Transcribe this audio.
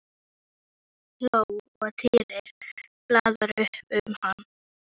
Hann hló og Týri flaðraði upp um hann.